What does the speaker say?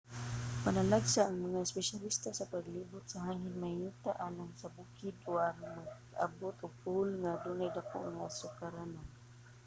panalagsa ang mga espesyalista sa paglibot sa hangin mahiyuta alang sa bukid o aron maabot ang pole nga adunay daku nga sukaranan